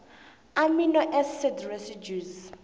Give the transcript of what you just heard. amino acid residues